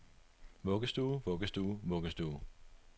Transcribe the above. vuggestue vuggestue vuggestue